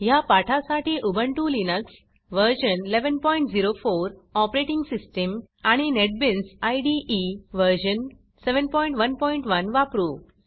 ह्या पाठासाठी Ubuntu Linux व्ह1104 ऑपरेटिंग सिस्टीम आणि नेटबीन्स इदे व्ह711 वापरू